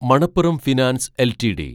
Manappuram finance LTD